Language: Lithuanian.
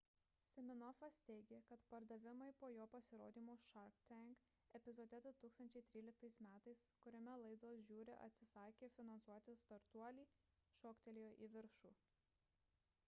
siminofas teigė kad pardavimai po jo pasirodymo shark tank epizode 2013 m kuriame laidos žiuri atsisakė finansuoti startuolį šoktelėjo į viršų